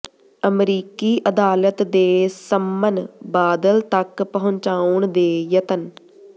ਅਮਰੀਕੀ ਅਦਾਲਤ ਦੇ ਸੰਮਨ ਬਾਦਲ ਤੱਕ ਪਹੁੰਚਾਉਣ ਦੇ ਯਤਨ